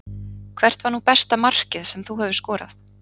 Hvert var nú besta markið sem þú hefur skorað?